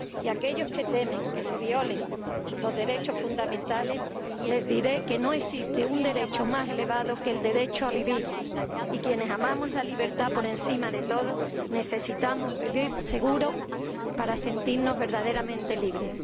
Y a aquellos que temen que se violen los derechos fundamentales les diré que no existe un derecho más elevado que el derecho a vivir, y quienes amamos la libertad por encima de todo necesitamos vivir seguros para sentirnos verdaderamente libres.